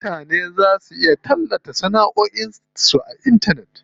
Mutane za su iya tallata sanaʼoin su ya hanyar intanet.